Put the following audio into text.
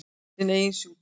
Sinn eigin sjúkdóm.